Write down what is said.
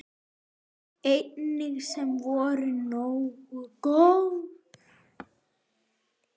Engin sem voru nógu góð.